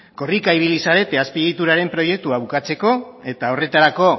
korrika ibili zarete azpiegituraren proiektua bukatzeko eta horretarako